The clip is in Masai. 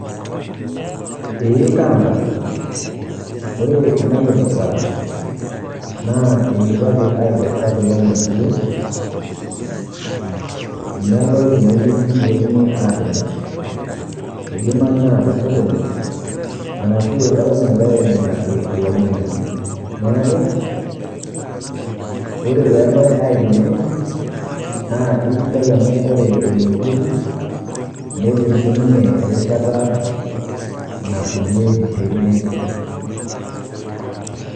Ee kaata, ore ena kipirta naa idipaki aikesa kulo ng'anayio neloi teneweuji pee etumi aatimirr idimayu naa tesokoni arashu eton egirai aing'uraki olainying'ani neeku ore pee eloi aikonji na kesidai amu ore olitueoku naa ketum sininye erishata naakuyie tene.